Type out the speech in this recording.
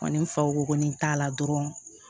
Ani fako ni t'a la dɔrɔn